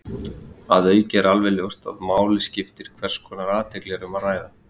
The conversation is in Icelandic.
Að auki er alveg ljóst að máli skiptir hvers konar athygli um er að ræða.